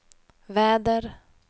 väder